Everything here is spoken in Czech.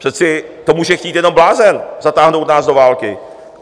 Přece to může chtít jenom blázen, zatáhnout nás do války.